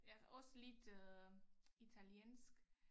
Ja også lidt øh italiensk